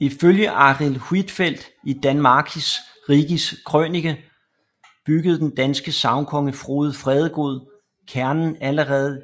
Ifølge Arild Huitfeldt i Danmarckis Rigis Krønicke byggede den danske sagnkonge Frode Fredegod Kernen allerede